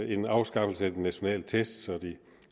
en afskaffelse af de nationale test og de